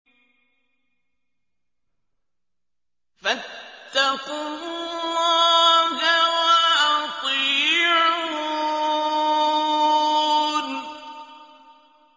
فَاتَّقُوا اللَّهَ وَأَطِيعُونِ